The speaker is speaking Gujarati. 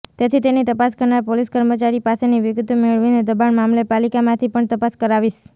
તેથી તેની તપાસ કરનાર પોલીસ કર્મચારી પાસેથી વિગતો મેળવીને દબાણ મામલે પાલીકામાંથી પણ તપાસ કરાવીશ